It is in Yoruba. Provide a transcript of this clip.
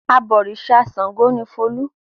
Abọ̀rìṣà Ṣàngó ni Folú.